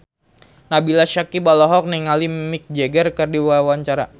Nabila Syakieb olohok ningali Mick Jagger keur diwawancara